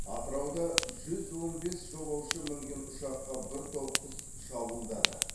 атырауда жүз он бес жолаушы мінген ұшаққа бір топ құс шабуылдады